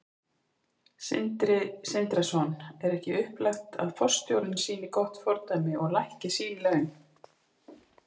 Sindri Sindrason: Er ekki upplagt að forstjórinn sýni gott fordæmi og lækki sín laun?